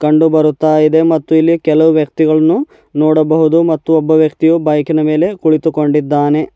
ಕಂಡು ಬರುತ್ತಾ ಇದೆ ಮತ್ತು ಇಲ್ಲಿ ಕೆಲವು ವ್ಯಕ್ತಿಗಳನ್ನು ನೋಡಬಹುದು ಮತ್ತು ಒಬ್ಬ ವ್ಯಕ್ತಿಯು ಬೈಕಿನ ಮೇಲೆ ಕುಳಿತುಕೊಂಡಿದ್ದಾನೆ.